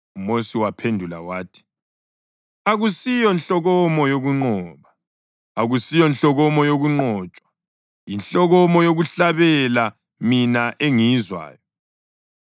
UMosi waphendula wathi: “Akusiyo nhlokomo yokunqoba, akusiyo nhlokomo yokunqotshwa; yinhlokomo yokuhlabela mina engiyizwayo.”